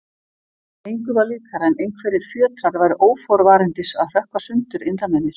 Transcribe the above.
Engu var líkara en einhverjir fjötrar væru óforvarandis að hrökkva sundur innra með mér.